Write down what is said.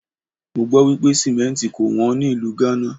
Mọ gbọ́ wípé Símẹ́ǹtì kò wón ní ìlú Ghana.